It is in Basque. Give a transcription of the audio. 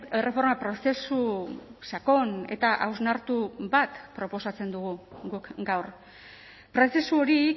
erreforma prozesu sakon eta hausnartu bat proposatzen dugu guk gaur prozesu hori